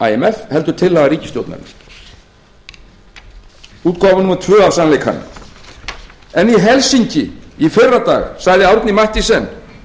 skilyrði imf heldur tillaga ríkisstjórnarinnar útgáfa númer tvö á sannleikanum en í helsinki í fyrradag sagði árni mathiesen